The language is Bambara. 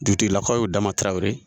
Dugutigilakaw ye o dama tarawele ye